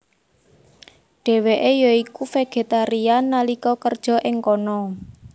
Dheweke ya iku vegetarian nalika kerja ing kana